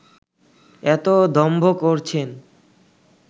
এতো দম্ভ করছেন